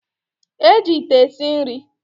E ji Ite esi nri